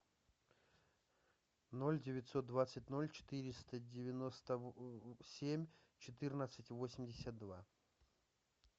ноль девятьсот двадцать ноль четыреста девяносто семь четырнадцать восемьдесят два